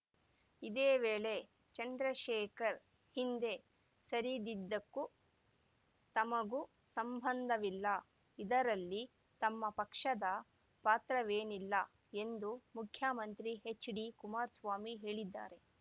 ಇದೇ ವೇಳೆ ಚಂದ್ರಶೇಖರ್‌ ಹಿಂದೆ ಸರಿದಿದ್ದಕ್ಕೂ ತಮಗೂ ಸಂಬಂಧವಿಲ್ಲ ಇದರಲ್ಲಿ ತಮ್ಮ ಪಕ್ಷದ ಪಾತ್ರವೇನಿಲ್ಲ ಎಂದು ಮುಖ್ಯಮಂತ್ರಿ ಎಚ್‌ಡಿಕುಮಾರಸ್ವಾಮಿ ಹೇಳಿದ್ದಾರೆ